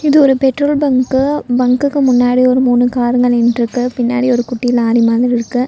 இது ஒரு petrol bunk பங்க்குக்கு முன்னாடி ஒரு மூணு காருங்க நின்றிருக்கு பின்னாடி ஒரு குட்டி லாரி மாதிரி இருக்கு.